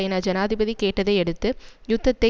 என ஜனாதிபதி கேட்டதை அடுத்து யுத்தத்தை